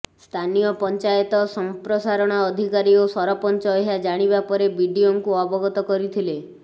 ସ୍ଥାନୀୟ ପଞ୍ଚାୟତ ସଂପ୍ରସାରଣ ଅଧିକାରୀ ଓ ସରପଞ୍ଚ ଏହା ଜାଣିବା ପରେ ବିଡ଼ିଓଙ୍କୁ ଅବଗତ କରିଥିଲେ